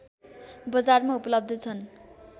बजारमा उपलब्ध छन्